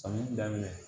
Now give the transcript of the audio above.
Samiyɛ daminɛ